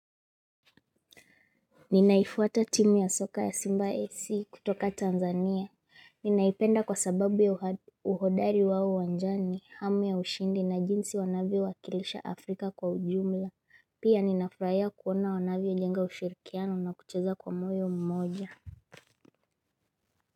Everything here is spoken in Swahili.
Ninaifuata timu ya soka ya Simba AC kutoka Tanzania. Ninaipenda kwa sababu ya uhodari wao wanjani, hamu ya ushindi na jinsi wanavyo wakilisha Afrika kwa ujumla. Pia, ninafurahia kuona wanavyo jenga ushirikiano na kucheza kwa moyo mmoja.